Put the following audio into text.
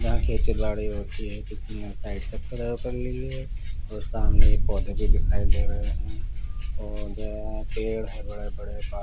यहाँ खेतीबाड़ी होती है किसीने साईड ले ली है और सामने पौदे भी दिखाई दे रहे है और पेड़ है बड़े बड़े बा--